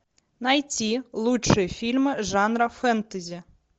найти лучшие фильмы жанра фэнтези